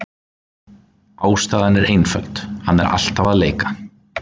Ástæðan er einföld: Hann er alltaf að leika.